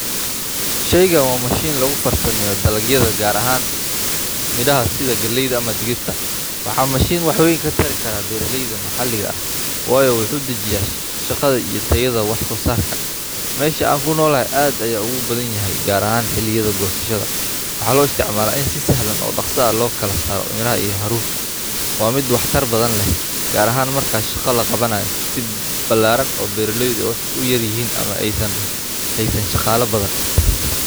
Sheeygan wa mashiin lagufarsameeyo dhalagyada gaar ahan miraha sida galeeyda ama dhigirta waxa mashiin wax weeyn katari kara beraleeyda maxalliga ah waayo waxu dhajiya shaqadha iyo tayadha wax soosarka meesha aan kunolohay aad ayey ogubadhanyahay gaar ahan xiliga goosashada waxa loo isticmala in si sahlan oo dhaqso ahh lokalasaaro miraha iyo haruurka wa midh wax tar badhan leh gaar ahan marka shaqa laqabanayo si balaaran oo beraleeydha u yarr yihiin ama eeynan heysan shaqaalo badhan badhan